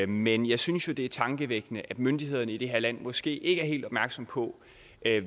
men jeg synes jo det er tankevækkende at myndighederne i det her land måske ikke er helt opmærksomme på